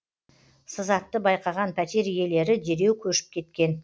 сызатты байқаған пәтер иелері дереу көшіп кеткен